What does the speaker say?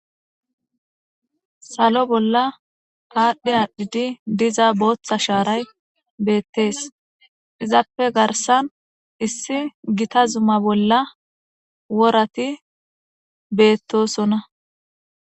Sallo bolla adhdhi adhdhidi diiza boththa sharay bettes izappe garssan issi giita zumma bolla worati bettosona.